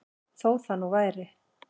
Þó það nú væri.